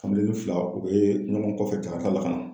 Kameleni fila u be ɲɔgɔn kɔfɛ zakarita la ka na